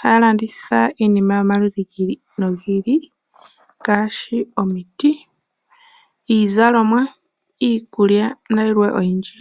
haya landitha iinima yomaludhi gi ili nogi ili ngaashi, omiti, iizalomwa, iikulya nayilwe oyindji.